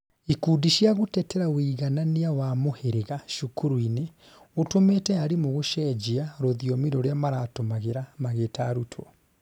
ikundi cĩa gũtetera ũiganania wa muhirĩga cukuru-inĩ utumĩte arimu gũcenjia, rũthiomi rũria maratũmagĩra magĩta arutwo